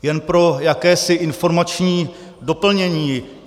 Jen pro jakési informační doplnění.